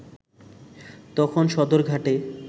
তখন সদরঘাটে